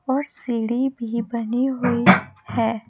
और सीढ़ी भी बनी हुई है।